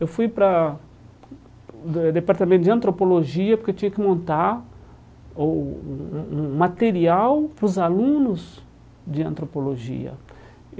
Eu fui para o Departamento de Antropologia porque eu tinha que montar o um um um material para os alunos de Antropologia.